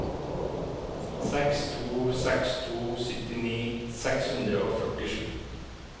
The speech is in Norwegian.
seks to seks to syttini seks hundre og førtisju